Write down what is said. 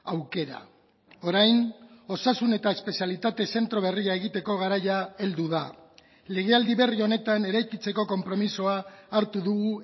aukera orain osasun eta espezialitate zentro berria egiteko garaia heldu da legealdi berri honetan eraikitzeko konpromisoa hartu dugu